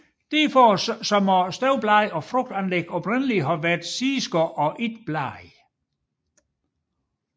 Derfor må støvblade og frugtanlæg oprindeligt have været sideskud og ikke blade